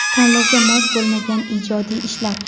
Tanlovga mos bo‘lmagan ijodiy ishlar.